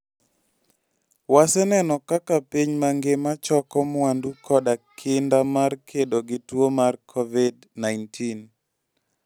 Waseneno kaka piny mangima choko mwandu koda kinda mar kedo gi tuo mar Covid-19.